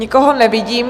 Nikoho nevidím.